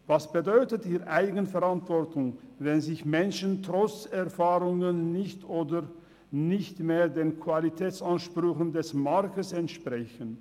Was bedeutet hier Eigenverantwortung, wenn Menschen trotz Erfahrungen den Qualitätsansprüchen des Markts nicht oder nicht mehr entsprechen?